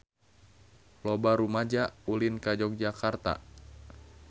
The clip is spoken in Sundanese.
Loba rumaja ulin ka Yogyakarta